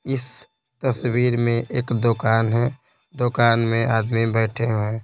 इस तस्वीर में एक दुकान है दुकान में आदमी बैठे हुए हैं।